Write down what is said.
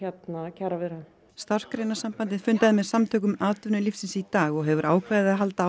kjaraviðræðum Starfsgreinasambandið fundaði með Samtökum atvinnulífsins í dag og hefur ákveðið að halda